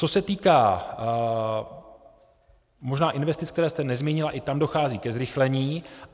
Co se týká možná investic, které jste nezmínila, i tam dochází ke zrychlení.